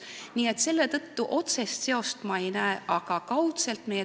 Nii et ma otsest seost ei näe, küll aga kaudset.